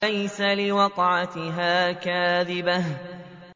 لَيْسَ لِوَقْعَتِهَا كَاذِبَةٌ